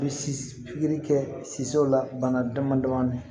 Bɛ pikiri kɛ siw la bana damadɔnin